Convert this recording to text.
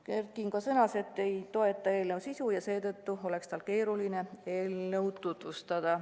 Kert Kingo sõnas, et ta ei toeta eelnõu sisu ja seetõttu oleks tal keeruline eelnõu tutvustada.